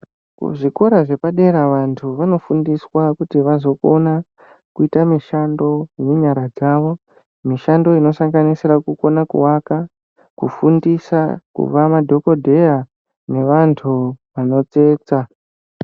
Kuzvikora zvepadera vantu vanofundiswa kuti vazokona kuita mishando yenyara dzawo, mishando inosanganisira kukona kuvaka, kufundisa, kuva madhokodheya nevantu vanotsetsa.